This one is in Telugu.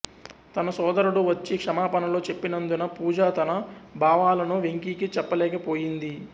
తన సోదరుడు వచ్చి క్షమాపణలు చెప్పినందున పూజా తన భావాలను వెంకికి చెప్పలేకపోయింది